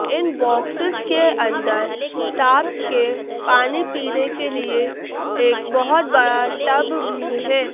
इन boxes के अंदर साप पानी पीने के लिए एक बहोत बात टब भी है।